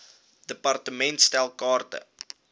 department stel kaarte